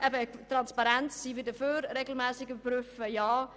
Wir sind für Transparenz und für eine regelmässige Überprüfung.